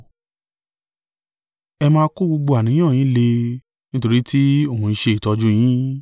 Ẹ máa kó gbogbo àníyàn yín lé e; nítorí tí òun ń ṣe ìtọ́jú yín.